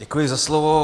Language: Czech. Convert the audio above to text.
Děkuji za slovo.